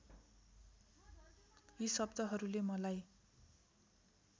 यी शब्दहरूले मलाई